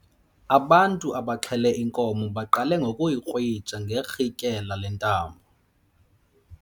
Ubantu abaxhele inkomo baqale ngokuyikrwitsha ngerhintyela lentambo.